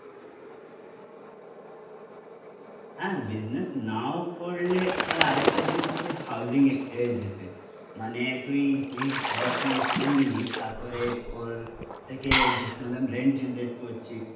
হ্যাঁ বিজনেস নাও করলে আর একটা জিনিস আছে হাউসিং এ যেতে, মানে তুই ঘর কিনে নিলি তারপরে ওর থেকে জে মতলব রেন্ট জেনারেট করছি